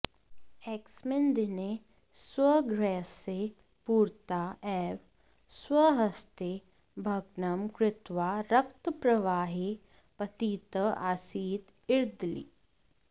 एकस्मिन् दिने स्वगृहस्य पुरतः एव स्वहस्तय भ्ग्नम् कृत्वा रक्तप्रवाहे पतितः आसीत् ईदर्ली